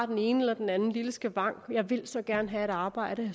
den ene eller den anden lille skavank som siger jeg vil så gerne have arbejde